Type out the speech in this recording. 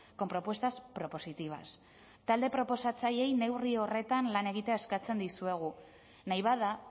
con propuestas propositivas talde proposatzaileei neurri horretan lan egitea eskatzen dizuegu nahi bada